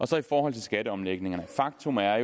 så i forhold til skatteomlægningerne faktum er at